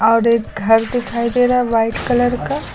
और एक घर दिखाई दे रहा है वाइट कलर का।